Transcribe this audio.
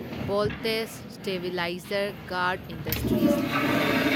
voltage stabilizer guard industries limited